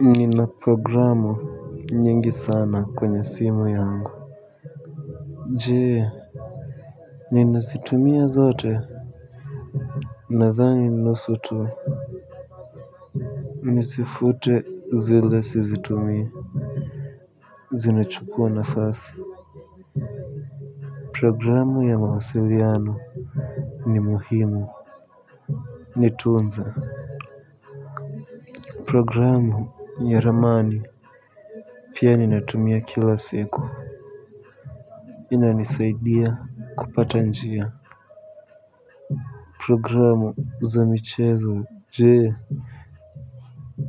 Nina programu nyingi sana kwenye simu yangu je ninazitumia zote. Nadhani nusu tu nizifute zile sizitumii. Zinachukua nafasi. Programu ya mawasiliano ni muhimu. Nitunze programu ya ramani pia ninatumia kila siku inanisaidia kupata njia. Programu za michezo je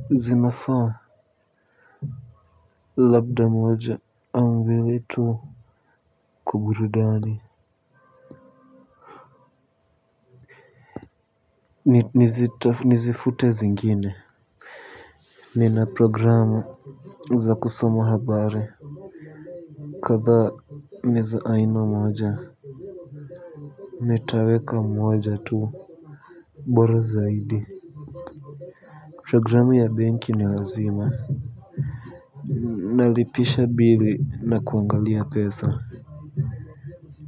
zinafaa. Labda moja au mbili tu kwa burudani. Nizifute zingine. Nina programu za kusomo habari. Kadhaa ni za aina moja. Nitaweka moja tu bora zaidi. Programu ya benki ni lazima. Nalipisha bili na kuangalia pesa.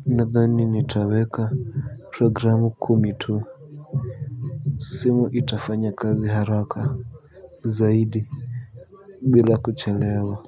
Nadhani nitaweka programu kumi tu simu itafanya kazi haraka zaidi bila kuchelewa.